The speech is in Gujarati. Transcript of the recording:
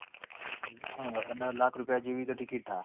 હા અને લાખ રૂપિયા જેવી તો ticket થશે.